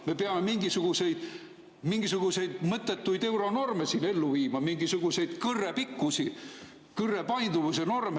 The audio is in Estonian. Me peame mingisuguseid mõttetuid euronorme siin ellu viima, mingisuguseid kõrre pikkuse või painduvuse norme.